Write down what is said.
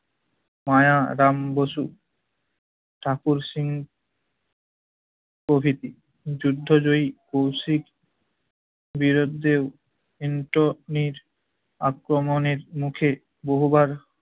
মায়া রাম বসু ঠাকুর সিং প্রভৃতি। যুদ্ধ জয়ী কৌশিক বিরোদ্ধেও হিন্টনির আক্রমণের মুখে বহুবার